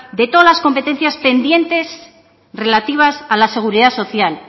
de todas las competencias pendientes relativas a la seguridad social